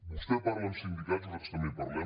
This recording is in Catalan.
vostè parla amb sindicats nosaltres també hi parlem